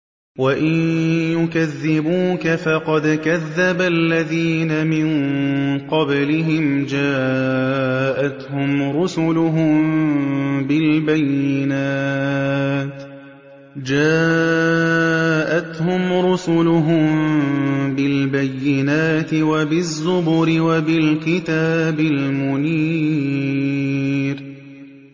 وَإِن يُكَذِّبُوكَ فَقَدْ كَذَّبَ الَّذِينَ مِن قَبْلِهِمْ جَاءَتْهُمْ رُسُلُهُم بِالْبَيِّنَاتِ وَبِالزُّبُرِ وَبِالْكِتَابِ الْمُنِيرِ